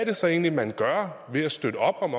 det så egentlig man gør ved at støtte op om